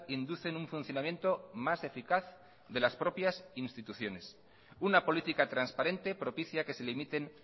inducen un funcionamiento más eficaz de las propias instituciones una política transparente propicia que se limiten